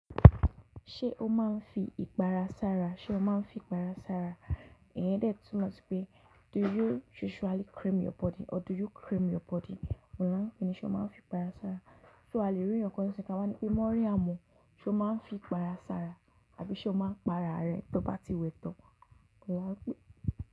Ṣé o máa ń fi ìpara sára? Ṣé o máa ń fi ìpara sára? Iyen dé tunmo si pé do you usually cream your body or do you cream your body? Ọ̀un la peni ṣe o máa ń fi ìpara sára? So a lè rí iyan kán sẹ́kàn wá ní pé mọ́ryam o ṣe o máa ń fi ìpara sára tàbí ṣe o máa ń para rẹ tó bá ti wẹ tọ́? Oun lan.